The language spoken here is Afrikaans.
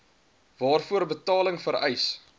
waarvoor betaling vereis